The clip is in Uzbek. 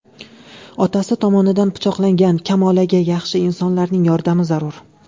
Otasi tomonidan pichoqlangan Kamolaga yaxshi insonlarning yordami zarur.